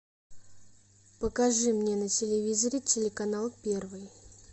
покажи мне на телевизоре телеканал первый